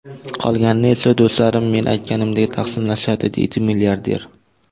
Qolganini esa do‘stlarim men aytganimdek taqsimlashadi”, deydi milliarder.